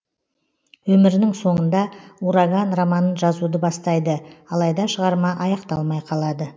өмірінің соңында ураган романын жазуды бастайды алайда шығарма аяқталмай қалады